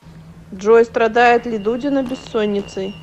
джой страдает ли дудина бессонницей